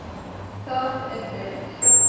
Það er vel.